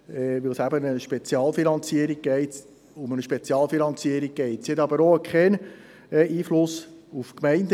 Wir sind am Ende der Geschäfte der STA angelangt.